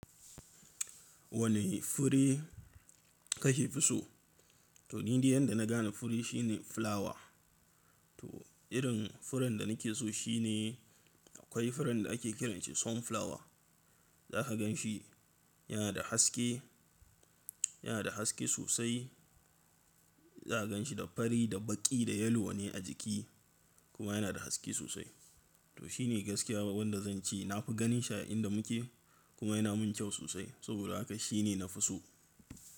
Wane fure ka fi so? To, ni dai yanda na gane fure shine fulawa. To irin furen da na ke so shine akwai furen da ake kiranshi sunflower. Za ka gan shi yana da haske, yana da haske sosai. Za ka gan shi da fari da baƙi da yalo ne a jiki kuma yana da haske sosai. To shine gaskiya wanda zan ce na fi ganin shi a inda muke kuma yana min kyau sosai saboda haka shine na fi so.